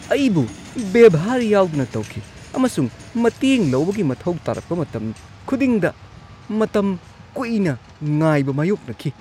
ꯑꯩꯕꯨ ꯚꯦꯚꯥꯔ ꯌꯥꯎꯗꯅ ꯇꯧꯈꯤ ꯑꯃꯁꯨꯡ ꯃꯇꯦꯡ ꯂꯧꯕꯒꯤ ꯃꯊꯧ ꯇꯥꯔꯛꯄ ꯃꯇꯝ ꯈꯨꯗꯤꯡꯗ ꯃꯇꯝ ꯀꯨꯏꯅ ꯉꯥꯏꯕ ꯃꯥꯌꯣꯛꯅꯈꯤ ꯫